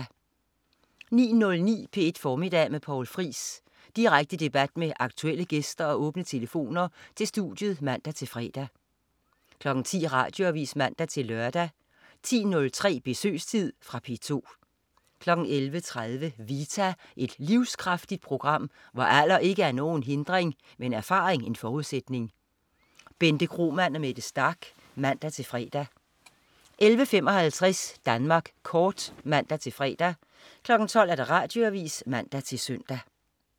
09.09 P1 Formiddag med Poul Friis. Direkte debat med aktuelle gæster og åbne telefoner til studiet (man-fre) 10.00 Radioavis (man-lør) 10.03 Besøgstid. Fra P2 11.30 Vita. Et livskraftigt program, hvor alder ikke er nogen hindring, men erfaring en forudsætning. Bente Kromann og Mette Starch (man-fre) 11.55 Danmark Kort (man-fre) 12.00 Radioavis (man-søn)